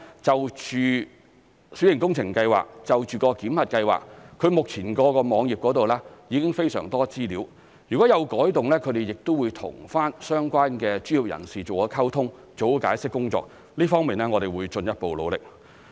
就小型工程檢核計劃，目前屋宇署的網頁已有非常多資料，如有改動，他們亦會和相關專業人士做好溝通、做好解釋工作，這一方面我們會進一步努力。